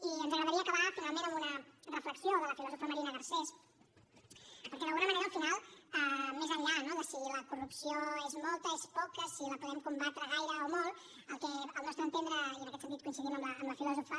i ens agradaria acabar finalment amb una reflexió de la filòsofa marina garcés perquè d’alguna manera al final més enllà no de si la corrupció és molta és poca si la podem combatre gaire o molt el que al nostre entendre i en aquest sentit coincidim amb la filòsofa